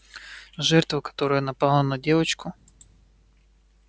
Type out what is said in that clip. жертва которая напала на девочку